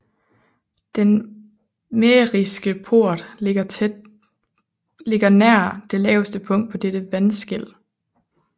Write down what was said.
Den mähriske port ligger nær det laveste punkt på dette vandskel